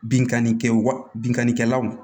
Binkanni kɛ wa binkanikɛlaw